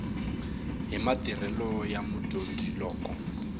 hi matirhelo ya mudyondzi loko